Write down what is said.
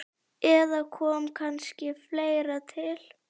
Eða kom kannski fleira til?